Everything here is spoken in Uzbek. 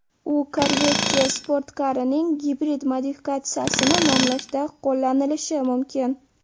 U Corvette sportkarining gibrid modifikatsiyasini nomlashda qo‘llanilishi mumkin.